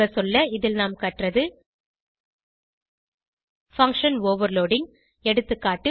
சுருங்கசொல்ல இதில் நாம் கற்றது பங்ஷன் ஓவர்லோடிங் எகா